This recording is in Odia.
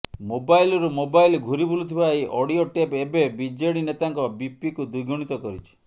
ମୋବାଇଲରୁ ମୋବାଇଲ ଘୁରିବୁଲୁଥିବା ଏହି ଅଡିଓ ଟେପ୍ ଏବେ ବିଜେଡି ନେତାଙ୍କ ବିପିକୁ ଦ୍ୱିଗୁଣିତ କରିଛି